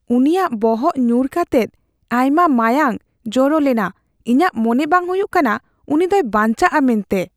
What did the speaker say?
ᱩᱱᱤᱭᱟᱜ ᱵᱚᱦᱚᱜ ᱧᱩᱨ ᱠᱟᱛᱮᱫ ᱟᱭᱢᱟ ᱢᱟᱸᱭᱟᱸᱝ ᱡᱚᱨᱚᱞᱮᱱᱟ ᱾ ᱤᱧᱟᱜ ᱢᱚᱱᱮ ᱵᱟᱝ ᱦᱩᱭᱩᱜ ᱠᱟᱱᱟ ᱩᱱᱤ ᱫᱚᱭ ᱵᱟᱧᱪᱟᱜᱼᱟ ᱢᱮᱱᱛᱮ ᱾